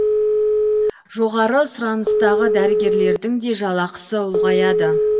жоғары сұраныстағы дәрігерлердің де жалақысы ұлғаяды